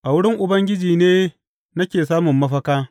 A wurin Ubangiji ne nake samun mafaka.